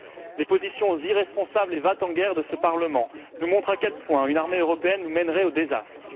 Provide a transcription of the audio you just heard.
Les positions irresponsables et va t en guerre de ce Parlement nous montrent à quel point une armée européenne nous mènerait au désastre.